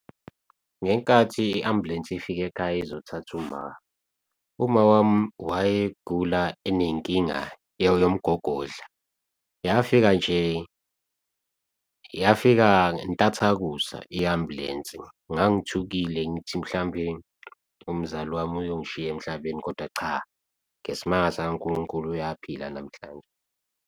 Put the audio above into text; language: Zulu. Ngenkathi i-ambulensi ifika ekhaya ezothatha uMa, umawami wayegula enenkinga yomgogodla, yafika nje yafika entathakusa i-ambulensi. Ngangithukile ngithi mhlawumbe umzali wami uyongishiya emhlabeni. Kodwa cha, ngesimanga saNkulunkulu uyaphila namhlanje.